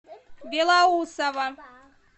белоусово